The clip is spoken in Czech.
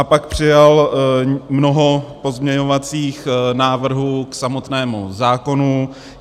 A pak přijal mnoho pozměňovacích návrhů k samotnému zákonu.